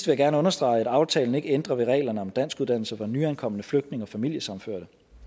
jeg gerne understrege at aftalen ikke ændrer ved reglerne om danskuddannelse for nyankomne flygtninge og familiesammenførte